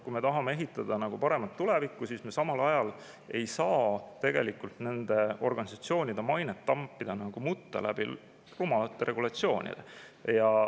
Kui me tahame ehitada paremat tulevikku, siis me samal ajal ei saa nende organisatsioonide mainet rumalate regulatsioonide tõttu mutta tampida.